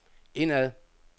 indad